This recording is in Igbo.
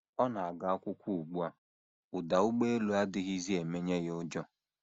Ọ na - aga akwụkwọ ugbu a, ụda ụgbọelu adịghịzi emenye ya ụjọ.